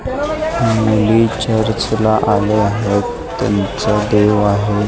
मुली चर्च ला आले आहेत त्यांचं देव आहे.